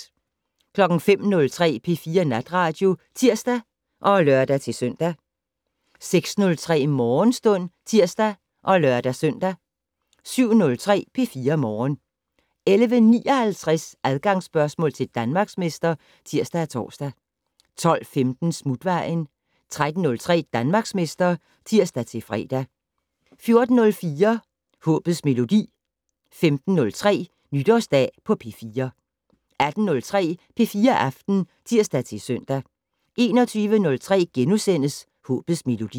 05:03: P4 Natradio (tir og lør-søn) 06:03: Morgenstund (tir og lør-søn) 07:03: P4 Morgen 11:59: Adgangsspørgsmål til Danmarksmester (tir-tor) 12:15: Smutvejen 13:03: Danmarksmester (tir-fre) 14:03: Håbets Melodi 15:03: Nytårsdag på P4 18:03: P4 Aften (tir-søn) 21:03: Håbets Melodi *